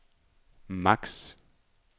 max